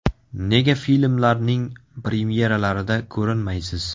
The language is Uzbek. Nega filmlarning premyeralarida ko‘rinmaysiz?